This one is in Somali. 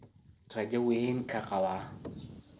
Cunugan raja weyn kaqawaa.